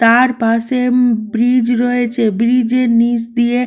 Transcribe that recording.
তার পাশে ব্রীজ রয়েছে ব্রীজ এর নিচ দিয়ে--